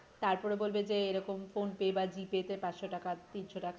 তারপরে বলবে যে এরকম phone pe বা g pay তে পাঁচশো টাকা, তিনশো টাকা করে হ্যাঁ হ্যাঁ দিন